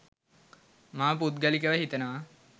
මම පුද්ගලිකව හිතනවා.